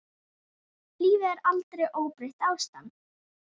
Lífið er aldrei óbreytt ástand.